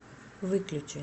выключи